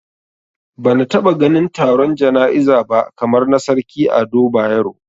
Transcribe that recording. Bana taba ganin taron jana'iza ba kamar na Sarki Ado Bayero